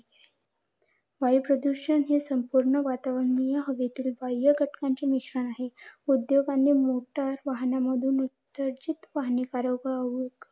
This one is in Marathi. नाय अस काय नाय forty five नव्हते.